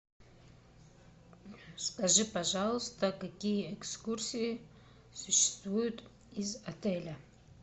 скажи пожалуйста какие экскурсии существуют из отеля